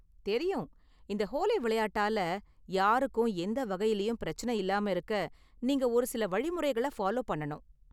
தெரியும், இந்த ஹோலி விளையாட்டால யாருக்கும் எந்த வகையிலயும் பிரச்சனை இல்லாம இருக்க நீங்க ஒரு சில வழிமுறைகளை ஃபாலோ பண்ணனும்!